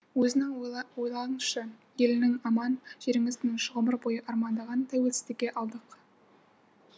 өзіңіз ойлаңызшы еліңіз аман жеріңіз тыныш ғұмыр бойы армандаған тәуелсіздікті алдық